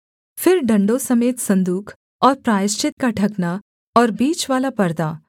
फिर डण्डों समेत सन्दूक और प्रायश्चित का ढकना और बीचवाला परदा